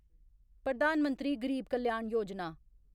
Pradhan Mantri Garib Kalyan Yojana